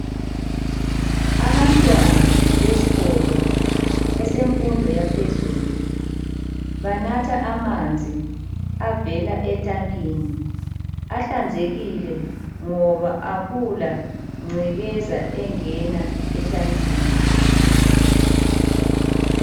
Abantwana besikolo esemfundo yaphezulu banatha amanzi avela etankeni ahlanzekile ngoba akula ngcekeza engena etankini